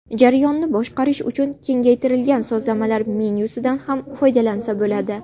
Jarayonni boshqarish uchun kengaytirilgan sozlamalar menyusidan ham foydalansa bo‘ladi.